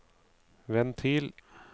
ventil